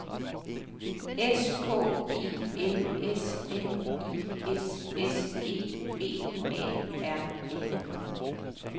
S K I L S M I S S E B A R N